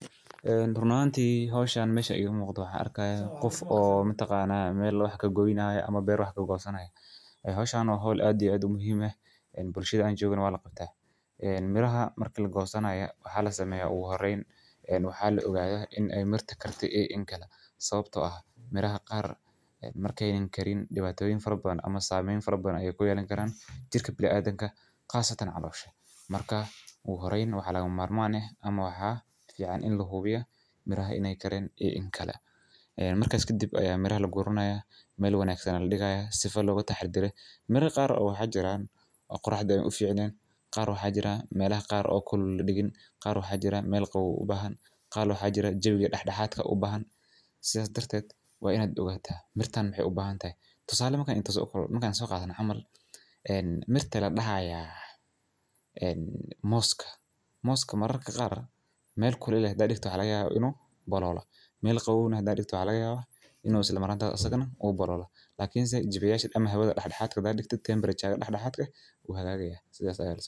Eeh run ahantii howshaan meesha igu muuqda waxa arka ah qof oo ma taqaanaa meel looxa kagoinaaya ama beer waax ka go'sannayo ay howshaano hawl aadi yey adigu muhiim ah in bulshada joogin waa la qabta. Miraha marka la go'sannayo waxaa la sameeyay u horreyn in waxa lagu ogaado inay mirti karti in kala sababtoo ah miraha qaar markaynin karin dhibaatooyin farboon ama saameeynta farboon ay ku yaalaan karaan jirka bil aadanka, khaasatan calosha. Markaa u horreyn waxaa laga maarmaan ah ama waxaa fiican in la hubiya miraha inay karin in kala. Marka iska dib ayaa mirahay la gurunaya meel wanaagsan ay dhigaaya sifa looga taxadiray. Miray qaarkood oo xajiraan quruxda u fiicneen qaar waxaa jira meelah qaar oo kulul digin, qaarkood xajira meel qowweeyna u bahan. Qaar loo xajira jawigi dhexdhexaadka u bahan sidaas darted waa inaad ogaataa mirtaan waxay u baahan tahay. Tusaale markay inta soo kala markay so qaatay camal. Mirte la dhaxaya ee mooska. Mooska mararka qaar meel kuleed da'diik tuhelaya inuu bolola, meel qowweynu da'diik tuhlaya inuu isla maranta asagana u bolola. Laakiinse jibayaasha ama hawada dhexdhexaadka da'diik temperature dhexdhexaadka guha gagaya sida ayahee.